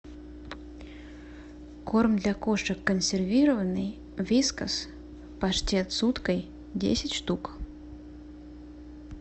корм для кошек консервированный вискас паштет с уткой десять штук